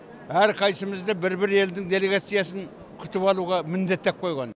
әрқайсымызды бір бір елдің делегациясын күтіп алуға міндеттеп қойған